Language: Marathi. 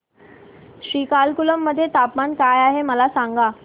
श्रीकाकुलम मध्ये तापमान काय आहे मला सांगा